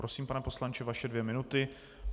Prosím, pane poslanče, vaše dvě minuty.